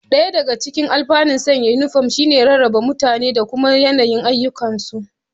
Ɗaya daga cikin alfanun sanya inifom shi ne rarrabe mutane da kuma yanayin ayyukansu